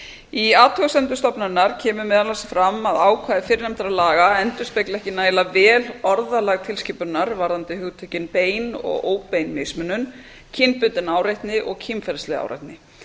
í athugasemdum stofnunarinnar kemur meðal annars fram að ákvæði fyrrnefndra laga endurspegli ekki nægilega vel orðalag tilskipunarinnar varðandi hugtökin bein og óbein mismunun kynbundin áreitni og kynferðisleg áreitni